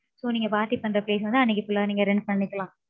So நீங்க party பண்ற place வந்து, அன்னைக்கு full ஆ, நீங்க rent பண்ணிக்கலாம்.